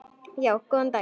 Já, góðan daginn.